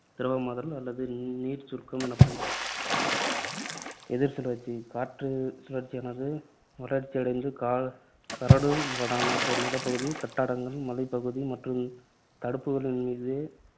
திரவமாதல் அல்லது நீர்ச்சுருக்கம் எனப்படும். எதிர் சுழற்சி காற்று சுழற்சியானது வளர்ச்சியடைந்து க~ கரடு முரடான நிலப்பகுதி, கட்டடங்கள், மலைப்பகுதி மற்றும் தடுப்புகளின் மீதே